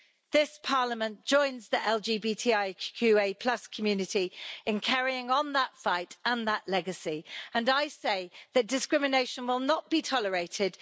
This Parliament joins the LGBTI QA plus community in carrying on that fight and that legacy and I say that discrimination will not be tolerated.